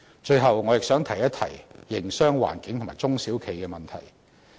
最後，我亦想提一提營商環境及中小型企業的問題。